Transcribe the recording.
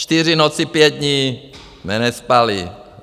Čtyři noci, pět dní jsme nespali.